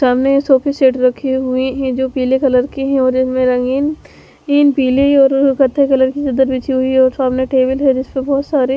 सामने ये सोफे सेट रखे हुए हैं जो पीले कलर के हैं और जिसमें रंगीन तीन पीले और कत्था कलर की चद्दर बिछी हुई है और सामने टेबल है जिसपे बहुत सारे --